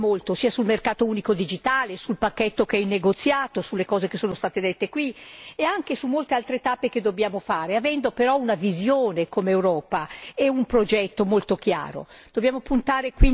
E allora dobbiamo spingere molto, sia sul mercato unico digitale, sul pacchetto che è in negoziato, sulle cose che sono state dette qui e anche su molte altre tappe che dobbiamo fare, avendo però una visione come Europa e un progetto molto chiaro.